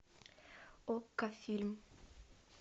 окко фильм